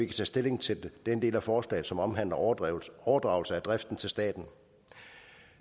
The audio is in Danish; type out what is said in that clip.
tage stilling til den del af forslaget som omhandler overdragelse overdragelse af driften til staten